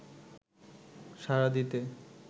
সাড়া দিতে